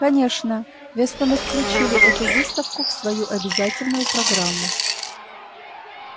конечно вестоны включили эту выставку в свою обязательную программу